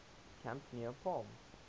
camp near palm